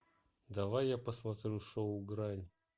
давай я посмотрю шоу грань